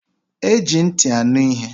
Eji ntị anụ ihe.